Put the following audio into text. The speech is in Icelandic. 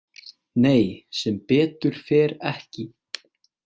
Nei sem betur fer ekki